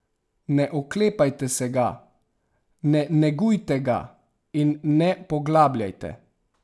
Ne oklepajte se ga, ne negujte ga in ne poglabljajte.